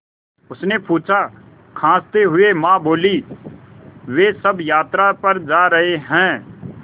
उसने पूछा खाँसते हुए माँ बोलीं वे सब यात्रा पर जा रहे हैं